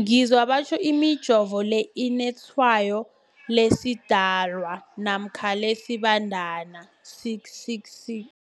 ngizwa batjho imijovo le inetshayo lesiDalwa namkha lesiBandana 666.